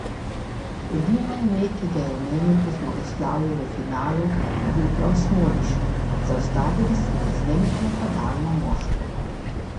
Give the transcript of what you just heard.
Edino ime, ki ga je omenil po zmagoslavju v finalu, je bil prav Smodiš: 'Zaustavili smo izjemno napadalno moštvo.